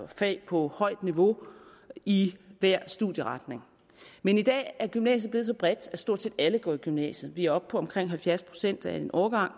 fag på højt niveau i hver studieretning men i dag er gymnasiet blevet så bredt at stort set alle går i gymnasiet vi er oppe på at omkring halvfjerds procent af en årgang